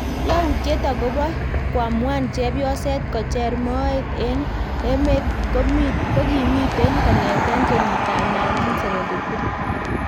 yautiet ab koamuan chepyoset kocher moet en emet kokimiten kongeten kenyiit ab 1973